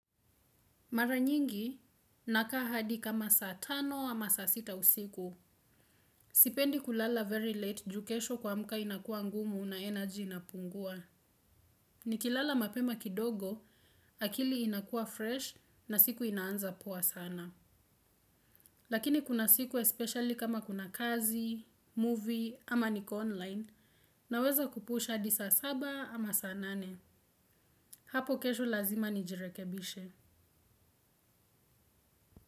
Mara nyingi, nakaa hadi kama saa tano ama saa sita usiku. Sipendi kulala very late juu kesho kuamka inakuwa ngumu na energy inapungua. Nikilala mapema kidogo, akili inakuwa fresh na siku inaanza poa sana. Lakini kuna siku especially kama kuna kazi, movie ama niko online, naweza kupush hadi saa saba ama saa nane. Hapo kesho lazima nijirekebishe.